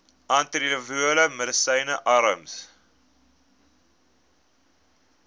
antiretrovirale medisyne arms